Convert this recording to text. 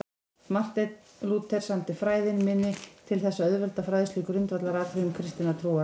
Marteinn Lúther samdi Fræðin minni til þess að auðvelda fræðslu í grundvallaratriðum kristinnar trúar.